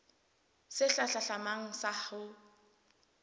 sehla se hlahlamang sa ho